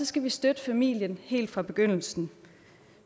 skal vi støtte familien helt fra begyndelsen